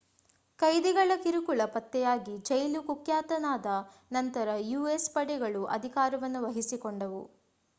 ಕೈದಿಗಳ ಕಿರುಕುಳ ಪತ್ತೆಯಾಗಿ ಜೈಲು ಕುಖ್ಯಾತವಾದ ನಂತರ ಯುಎಸ್ ಪಡೆಗಳು ಅಧಿಕಾರವನ್ನು ವಹಿಸಿಕೊಂಡವು